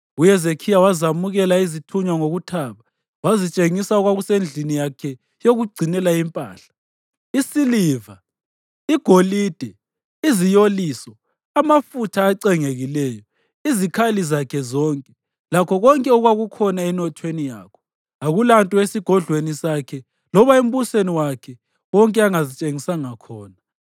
UHezekhiya wazamukela izithunywa ngokuthaba, wazitshengisa okwakusendlini yakhe yokugcinela impahla, isiliva, igolide, iziyoliso, amafutha acengekileyo, izikhali zakhe zonke, lakho konke okwakukhona enothweni yakhe. Akulalutho esigodlweni sakhe loba embusweni wakhe wonke angazitshengisanga khona.